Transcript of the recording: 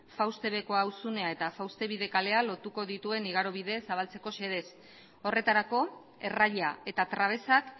fauste bekoa auzunea eta fauste bide kalea lotuko dituen igaro bidez zabaltzeko xedez horretarako erraia eta trabesak